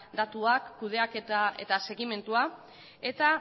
datuak kudeaketa eta segimendua eta